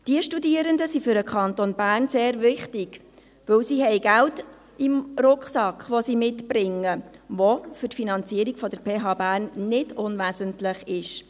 Diese Studierenden sind für den Kanton Bern sehr wichtig, weil sie Geld im Rucksack, den sie mitbringen, haben, das für die Finanzierung der PH Bern nicht unwesentlich ist.